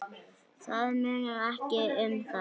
Það munar ekki um það!